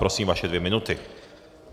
Prosím vaše dvě minuty.